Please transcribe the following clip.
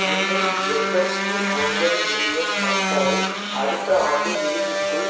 இன்னும் எண்பத்தி ஒன்பது மில்லியன் மக்களை அடுத்த ஆண்டு இறுதிக்குள்